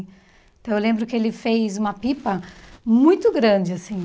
Então, eu lembro que ele fez uma pipa muito grande, assim.